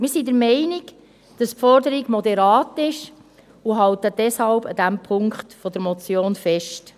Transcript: Wir sind der Meinung, dass die Forderung moderat ist, und halten deshalb in diesem Punkt an der Motion fest.